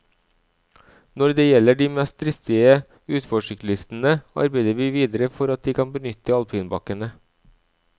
Når det gjelder de mest dristige utforsyklistene, arbeider vi videre for at de kan benytte alpinbakkene.